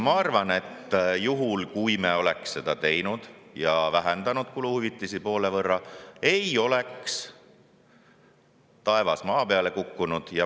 Ma arvan, et kui me oleks seda teinud, vähendanud kuluhüvitisi poole võrra, ei oleks taevas maa peale kukkunud.